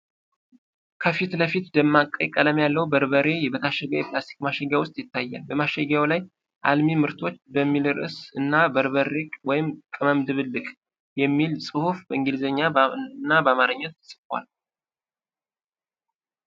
ከፊት ለፊት ደማቅ ቀይ ቀለም ያለው በርበሬ በታሸገ የፕላስቲክ ማሸጊያ ውስጥ ይታያል። በማሸጊያው ላይ “አልሚ ምርቶች” የሚል ርዕስ እና “በርበሬ (ቅመም ድብልቅ)” የሚል ጽሑፍ በእንግሊዝኛና በአማርኛ ተጽፏል።